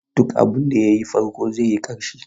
Duk abinda ya yi farko zai yi ƙarshe.